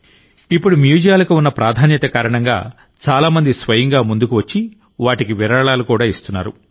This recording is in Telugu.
ఇప్పుడు మ్యూజియాలకు ఉన్న ప్రాధాన్యత కారణంగా చాలా మంది స్వయంగా ముందుకు వచ్చి వాటికి విరాళాలు ఇస్తున్నారు